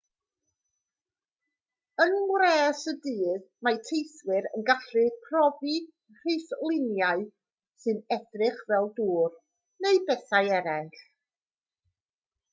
yng ngwres y dydd mae teithwyr yn gallu profi rhithluniau sy'n edrych fel dŵr neu bethau eraill